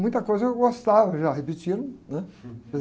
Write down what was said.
Muita coisa eu gostava já, repetiram, né?